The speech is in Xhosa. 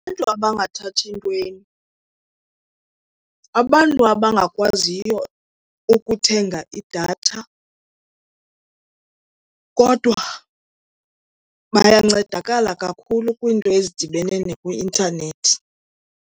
Abantu abangathathi ntweni, abantu abangakwaziyo ukuthenga idatha kodwa bayancedakala kakhulu kwiinto ezidibene nakwi-intanethi.